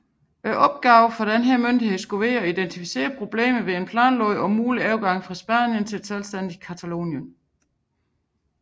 Opgaven for denne myndighed skulle være at identificere problemer ved en planlagt mulig overgang fra Spanien til et selvstændigt Catalonien